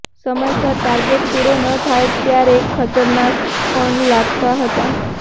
સમયસર ટાર્ગેટ પુરો ન થાય ત્યારે ખતરનાક પણ લાગતા હતા